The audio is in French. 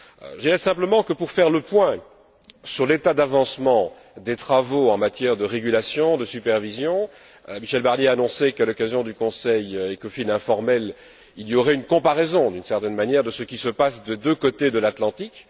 Je dirais simplement que, pour faire le point sur l'état d'avancement des travaux en matière de régulation, de supervision, Michel Barnier a annoncé qu'à l'occasion du Conseil Ecofin informel il y aurait une comparaison, d'une certaine manière, de ce qui se passe des deux côtés de l'Atlantique.